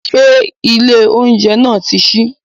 Ṣé ilé oúnjẹ náà náà ti ṣí?